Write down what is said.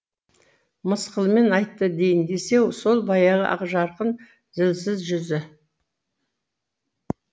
мысқылмен айтты дейін десе сол баяғы ақжарқын зілсіз жүзі